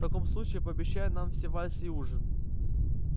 в таком случае пообещай нам все вальсы и ужин